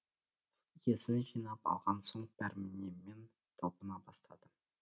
есін жинап алған соң пәрменімен талпына бастады